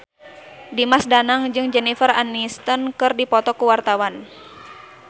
Dimas Danang jeung Jennifer Aniston keur dipoto ku wartawan